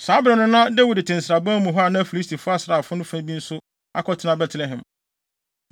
Saa bere no na Dawid te nsraban mu hɔ a na Filistifo asraafo no fa bi nso akɔtena Betlehem.